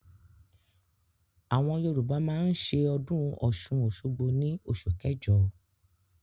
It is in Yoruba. Àwọn yorùbá máa ń ṣe ọdún ọ̀ṣun òṣogbo ní oṣù kẹjọ.